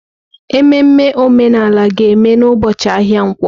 Ememe omenala ga-eme n'ụbọchị ahịa nkwo.